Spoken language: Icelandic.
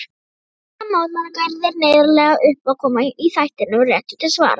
Fjölmennar mótmælaaðgerðir, neyðarleg uppákoma í þættinum Réttur til svara.